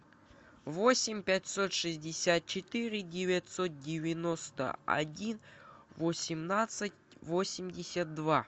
восемь пятьсот шестьдесят четыре девятьсот девяносто один восемнадцать восемьдесят два